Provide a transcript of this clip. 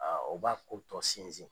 o b'a ko tɔ sinsin.